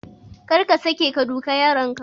Kar ka sake ka duka yaronka.